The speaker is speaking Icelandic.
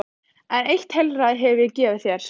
En eitt heilræði hef ég að gefa þér.